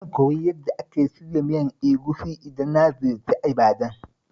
Zan koyi yadda ake shirya miyar Egusi idan na ziyarci Ibadan.